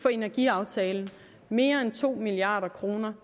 for energiaftalen mere end to milliard kroner